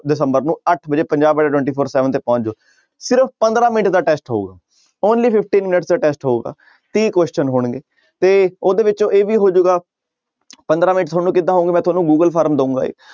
ਦਸੰਬਰ ਨੂੰ ਅੱਠ ਵਜੇ ਪੰਜਾਬ ਸੈਵਨ ਤੇ ਪਹੁੰਚ ਜਾਓ ਸਿਰਫ਼ ਪੰਦਰਾਂ ਮਿੰਟ ਦਾ test ਹੋਊਗਾ only fifteen minutes ਦਾ test ਹੋਊਗਾ ਤੀਹ question ਹੋਣਗੇ ਤੇ ਉਹਦੇ ਵਿੱਚੋਂ ਇਹ ਵੀ ਹੋ ਜਾਊਗਾ ਪੰਦਰਾਂ ਮਿੰਟ ਤੁਹਾਨੂੰ ਕਿੱਦਾਂ ਹੋਊਗਾ ਮੈਂ ਤੁਹਾਨੂੰ ਗੂਗਲ ਫਾਰਮ ਦਊਗਾ ਇਹ